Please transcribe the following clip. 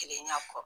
Kelen ya kɔ